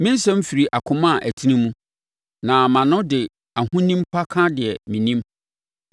Me nsɛm firi akoma a ɛtene mu; na mʼano de ahonim pa ka deɛ menim.